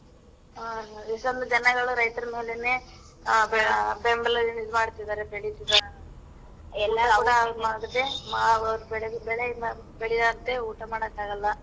ಆ. ಅಲ್ವಾ ರೈತ್ರನ್ ನೋಡಿನೆ. ಆ ಆ ಬೆಂಬಲ ಹೇಳ್ ಇದ್ ಮಾಡ್ತಿದರೆ ಬೆಳಿತಿದಾರೆ. ಬೆಳೆ ಬೆಳೆ ಇಲ್ಲ ಬೆಳಿಲಾರ್ದೆ ಊಟ ಮಾಡಕ್ ಆಗಲ್ಲ.